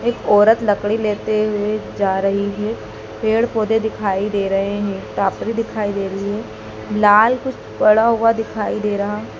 एक औरत लकड़ी लेते हुए जा रही हैं पेड़ पौधे दिखाई दे रहे हैं टापरी दिखाई दे रही हैं लाल कुछ पड़ा हुआ दिखाई दे रहा--